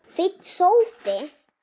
Fínn sófi!